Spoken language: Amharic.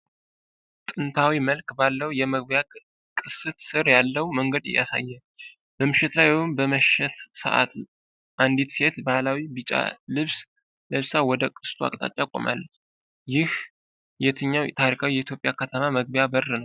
ጥንታዊ መልክ ባለው የመግቢያ ቅስት ስር ያለውን መንገድ ያሳያል። በምሽት ወይም በመሸት ሰዓት አንዲት ሴት በባህላዊ ቢጫ ልብስ ለብሳ ወደ ቅስቱ አቅጣጫ ቆማለች። ይህ የትኛው ታሪካዊ የኢትዮጵያ ከተማ መግቢያ በር ነው?